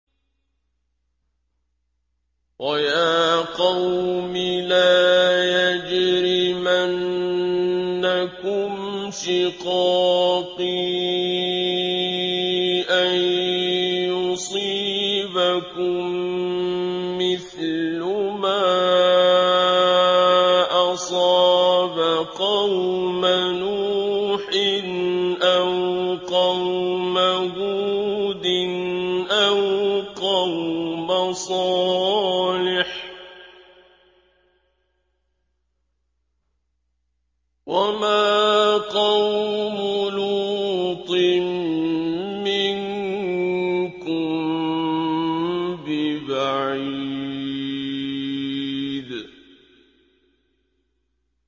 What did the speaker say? وَيَا قَوْمِ لَا يَجْرِمَنَّكُمْ شِقَاقِي أَن يُصِيبَكُم مِّثْلُ مَا أَصَابَ قَوْمَ نُوحٍ أَوْ قَوْمَ هُودٍ أَوْ قَوْمَ صَالِحٍ ۚ وَمَا قَوْمُ لُوطٍ مِّنكُم بِبَعِيدٍ